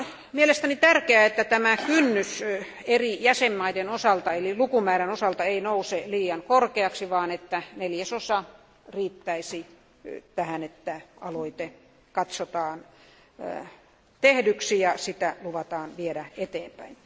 Mielestäni on tärkeää, että kynnys eri jäsenvaltioiden osalta eli niiden lukumäärän osalta ei nouse liian korkeaksi, vaan että neljäsosa riittäisi siihen, että aloite katsotaan tehdyksi ja että sitä luvataan viedä eteenpäin.